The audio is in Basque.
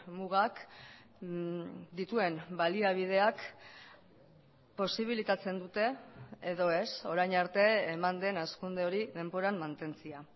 mugak dituen baliabideak posibilitatzen dute edo ez orain arte eman den hazkunde hori denboran mantentzea